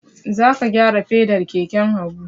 Za ka gyara fedar keken Habu!